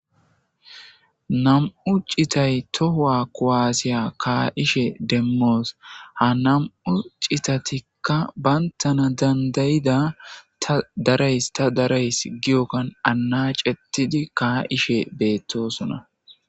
Nam'u citay tohua kuasiya kaishe demos ha nam'u citatika bantana dandayida ta darayis ta darayis giyogan hanacetidi kaishe betosona.